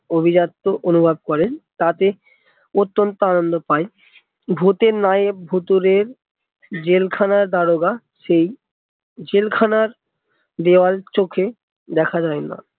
অভিজাত্য অনুভব করে তাতে অতন্ত্য আনন্দ পায় ভুতের নায়েক ভুতুড়ের জেল খানার দারোগা সেই জেলখানার দেয়াল চোখে দেখা যায় না